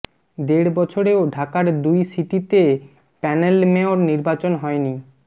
দেড় বছরেও ঢাকার দুই সিটিতে প্যানেল মেয়র নির্বাচন হয়নি